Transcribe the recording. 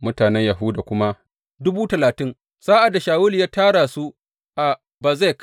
Mutanen Yahuda kuma dubu talatin, sa’ad da Shawulu ya tara su a Bezek.